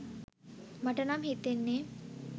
මට නම් හිතෙන්නේ.